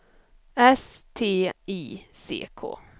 S T I C K